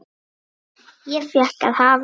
Ég fékk að hafa